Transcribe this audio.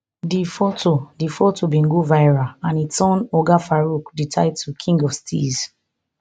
di foto di foto bin go viral and e earn oga farooq di title king of steeze